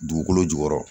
Dugukolo jukɔrɔ